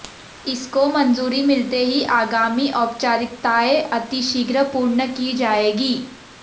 इसको मंजूरी मिलते ही आगामी औपचारिकताएं अतिशीघ्र पूर्ण की जाएंगी